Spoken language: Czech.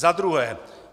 Za druhé.